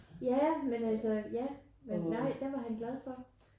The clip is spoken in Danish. Ja men altså ja men nej der var han glad for det